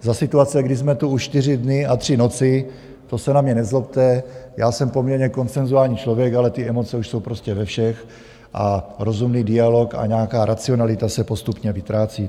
Za situace, kdy jsme tu už čtyři dny a tři noci, to se na mě nezlobte, já jsem poměrně konsenzuální člověk, ale ty emoce už jsou prostě ve všech a rozumný dialog a nějaká racionalita se postupně vytrácí.